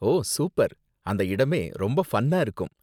ஓ, super, அந்த இடமே ரொம்ப ஃபன்னா இருக்கும்.